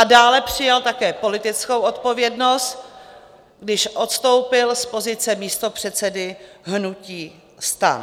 A dále přijal také politickou odpovědnost, když odstoupil z pozice místopředsedy hnutí STAN.